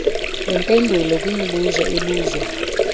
neempendulo kwimibuzo ebuzwa